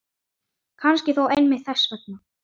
Kannski þó einmitt þess vegna.